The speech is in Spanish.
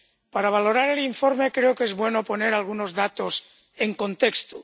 Para valorar el informe creo que es bueno poner algunos datos en contexto.